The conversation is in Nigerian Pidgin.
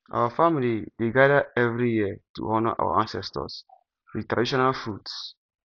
our family dey gather every year to honour our ancestors with traditional foods